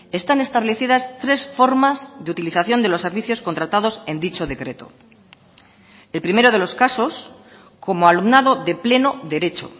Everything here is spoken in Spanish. están establecidas tres formas de utilización de los servicios contratados en dicho decreto el primero de los casos como alumnado de pleno derecho